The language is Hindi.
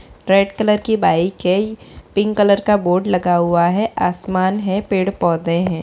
रेड कलर की बाइक है | पिंक कलर का बोर्ड लगा हुआ है आसमान है पेड़ पौधे हैं ।